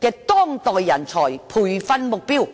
的當代人才培訓目標。